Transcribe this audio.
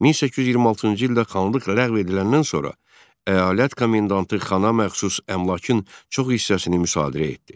1826-cı ildə xanlıq ləğv ediləndən sonra əyalət komendantı xana məxsus əmlakın çox hissəsini müsadirə etdi.